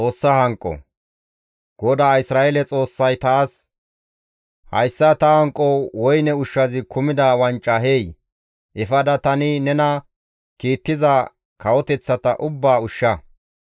GODAA Isra7eele Xoossay taas, «Hayssa ta hanqo woyne ushshazi kumida wanca hey; efada tani nena kiittiza kawoteththata ubbaa ushsha.